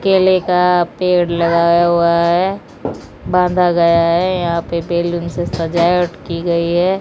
केले का पेड़ लगाया हुआ है बांधा गया है यहां पे बेलून से सजावट की गई है।